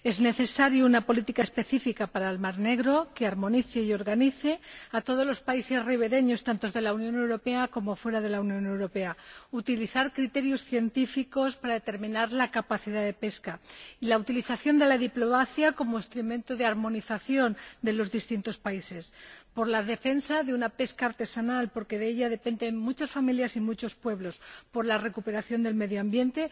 Es necesaria una política específica para el mar Negro que armonice y organice a todos los países ribereños —tanto de la Unión Europea como de fuera de la Unión Europea—, que aplique criterios científicos para determinar la capacidad de pesca y utilice la diplomacia como instrumento de armonización de los distintos países, que defienda la pesca artesanal —porque de ella dependen muchas familiar y muchos pueblos— y que favorezca la recuperación del medio ambiente